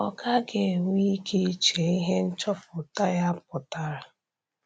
Ọ gaghị enwe ike iche ihe nchọpụta ya pụtara.